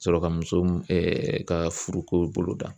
Sɔrɔ ka muso ka furuko boloda